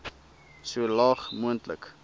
so laag moontlik